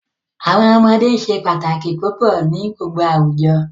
Awọn ọmọde se pataki pupọ ni gbogbo awujọ.